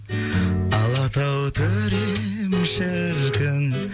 алатау төрем шіркін